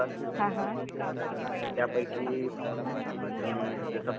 त्यापैकी जसं बॉलर झालं